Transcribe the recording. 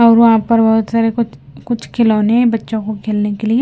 और वहाँ पर बहुत सारे कुछ कुछ खिलौने बच्चों को खेलने के लिए ।